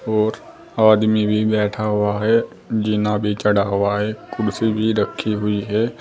और आदमी भी बैठा हुआ है जीना भी चढ़ा हुआ है कुर्सी भी रखी हुई है।